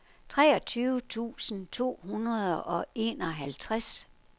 treogtyve tusind to hundrede og enoghalvtreds